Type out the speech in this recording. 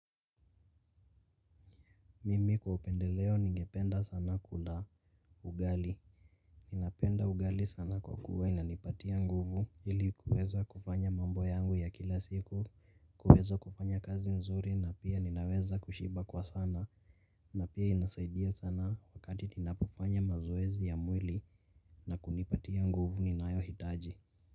Mimi kwa upendeleo ningependa sana kula ugali napenda ugali sana kwa kuwa inanipatia nguvu ili kuweza kufanya mambo yangu ya kila siku kuweza kufanya kazi nzuri na pia ninaweza kushiba kwa sana. Na pia inasaidia sana wakati ninapofanya mazoezi ya mwili na kunipatia nguvu ninayo hitaji.